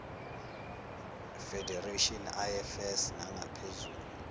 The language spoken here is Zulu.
federations ifs nangaphezu